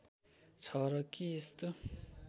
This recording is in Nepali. छ र के यस्तो